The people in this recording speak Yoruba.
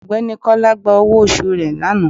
Ọgbẹni kola gba ọwọ osù re lanà